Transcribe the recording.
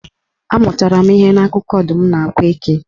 Ọ amụtara ihe n'akụkọ Ọdụm na Akwa Eke.